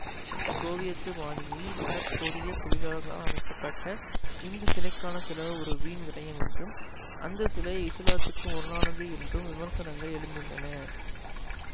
Soviet பாணியில் வட கொரிய தொழிலாளர்களால் அமைக்க பட்ட இந்த சிலைக்கான செலவு ஒரு வீண்விரையம் என்றும் அந்த சிலை இசுலாத்துக்கு முரணானது என்றும் விமர்சனங்கள் எழுந்துள்ளன